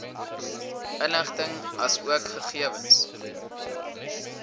inligting asook gegewens